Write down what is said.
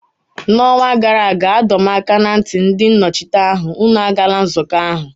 N'ọnwa gara aga, adọ m aka ná ntị ndị nnọchiteanya, unu agala nzukọ ahụ!